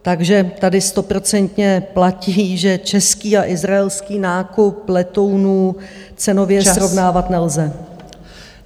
Takže tady stoprocentně platí, že český a izraelský nákup letounů cenově srovnávat nelze.